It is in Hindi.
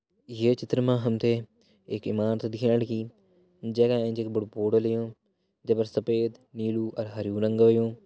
यह चित्र मा हमथे एक इमारत दिखेण लगीं जैका एैंच इक बडू बोर्ड लग्युं जैफर सपेद नीलू अर हर्युं रंग हुंयु।